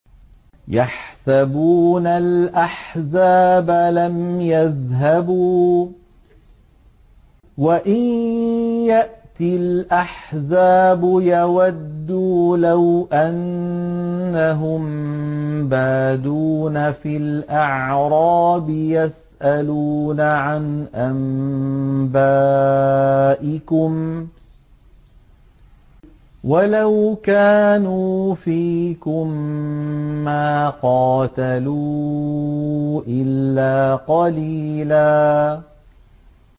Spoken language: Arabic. يَحْسَبُونَ الْأَحْزَابَ لَمْ يَذْهَبُوا ۖ وَإِن يَأْتِ الْأَحْزَابُ يَوَدُّوا لَوْ أَنَّهُم بَادُونَ فِي الْأَعْرَابِ يَسْأَلُونَ عَنْ أَنبَائِكُمْ ۖ وَلَوْ كَانُوا فِيكُم مَّا قَاتَلُوا إِلَّا قَلِيلًا